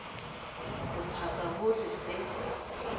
ho paka ho re se